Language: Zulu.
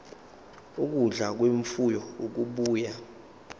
ukudla kwemfuyo okubuya